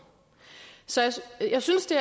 jeg synes det